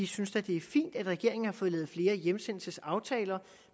synes det er fint at regeringen har fået lavet flere hjemsendelsesaftaler